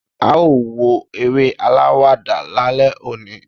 a o wo eré alawada lálẹ oní